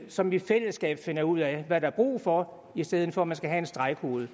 som i fællesskab finder ud af hvad der er brug for i stedet for at man skal have en stregkode